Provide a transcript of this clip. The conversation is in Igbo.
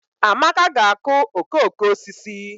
Amaka ga-akụ okooko osisi